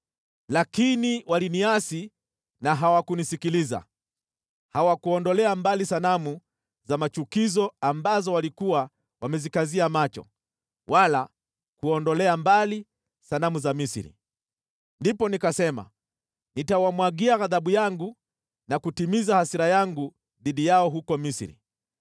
“ ‘Lakini waliniasi na hawakunisikiliza, hawakuondolea mbali sanamu za machukizo ambazo walikuwa wamezikazia macho, wala kuondolea mbali sanamu za Misri. Ndipo nikasema, nitawamwagia ghadhabu yangu na kutimiza hasira yangu dhidi yao huko Misri.